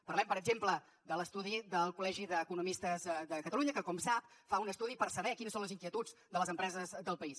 parlem per exemple de l’estudi del col·legi d’economistes de catalunya que com sap fa un estudi per saber quines són les inquietuds de les empreses del país